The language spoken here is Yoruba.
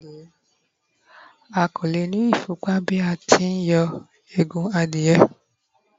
a ko le ni ifún pa bi a ti n yo Egun adìye